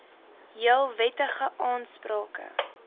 heel wettige aansprake